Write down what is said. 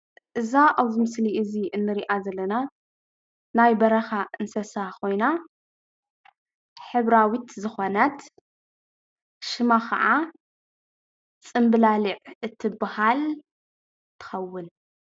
እዛ ኣብዚ ምስሊ እንሪኣ ዘለና ናይ በረኻ እንስሳ ኾይና ሕብራዊት ዝኾነት ሽማ ከዓ ፅንብላሊዕ እትባሃል ትኸውን፡፡